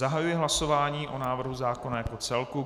Zahajuji hlasování o návrhu zákona jako celku.